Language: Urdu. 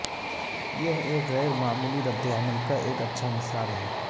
یہ ایک غیر معمولی ردعمل کا ایک اچھا مثال ہے